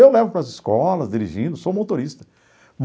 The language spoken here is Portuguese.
Eu levo para as escolas dirigindo, sou motorista.